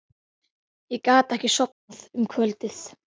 Ég gat ekki sofnað um kvöldið.